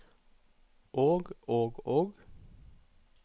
og og og